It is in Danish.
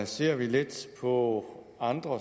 ser vi lidt på andre